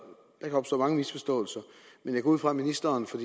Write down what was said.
kan opstå mange misforståelser men jeg går ud fra at ministeren for